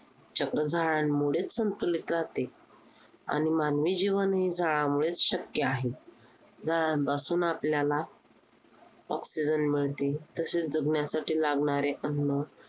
झाडांमुळे संतुलित राहाते. आणि मानवी जीवन हे झाडांमुळेच शक्य आहे. झाडांपासून आपल्याला oxygen मिळते. तसेच जगण्यासाठी लागणारे अन्नचक्र